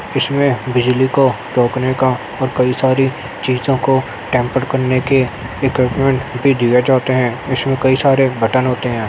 इसमें बिजली को रोकने का और कई सारी चीजो को टेम्परड करने के इक्विप्मन्ट् भी दिए जाते है इसमें कई सारे बटन होते है।